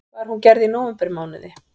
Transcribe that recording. Var hún gerð í nóvembermánuði